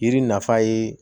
Yiri nafa ye